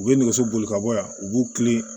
U ye nɛgɛso boli ka bɔ yan u b'u kilen